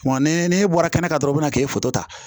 Wa ni ne bɔra kɛnɛ kan dɔrɔn u bɛna k'i foto ta